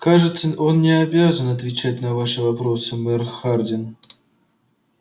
кажется он не обязан отвечать на ваши вопросы мэр хардин